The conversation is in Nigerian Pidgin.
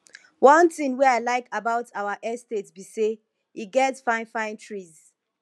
one thing wey i like about our estate be say e get fine fine trees